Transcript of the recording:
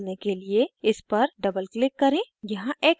dialog box खोलने के लिए इस पर double click करें